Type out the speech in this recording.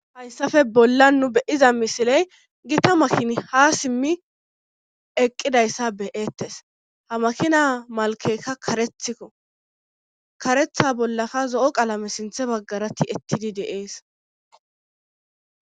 Hayssafe bollan nu be7iza misiley gita makini haa simmi eqqidyssa be7eettes ha makina malkketka kareethiko karetha bollaka zo7o qalame sintha baggara ti7ettidi de7ees.